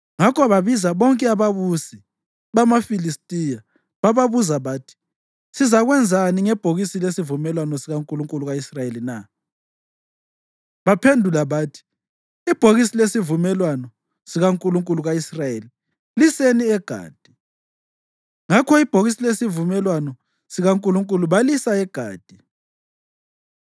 Ngakho babiza bonke ababusi bamaFilistiya bababuza bathi, “Sizakwenzani ngebhokisi lesivumelwano sikankulunkulu ka-Israyeli na?” Baphendula bathi, “Ibhokisi lesivumelwano sikankulunkulu ka-Israyeli liseni eGathi.” Ngakho ibhokisi lesivumelwano sikaNkulunkulu balisa eGathi.